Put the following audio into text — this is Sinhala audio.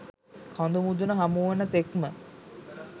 කඳු මුදුන හමු වන තෙක්ම